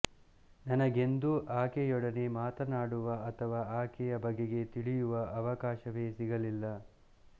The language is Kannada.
ನನಗೆಂದೂ ಆಕೆಯೊಡನೆ ಮಾತಾಡುವ ಅಥವಾ ಆಕೆಯ ಬಗೆಗೆ ತಿಳಿಯುವ ಅವಕಾಶವೇ ಸಿಗಲಿಲ್ಲ